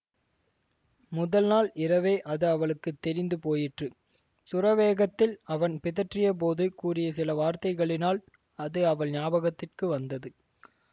முதல் நாள் இரவே அது அவளுக்கு தெரிந்து போயிற்று சுரவேகத்தில் அவன் பிதற்றியபோது கூறிய சில வார்த்தைகளினால் அது அவள் ஞாபகத்திற்கு வந்தது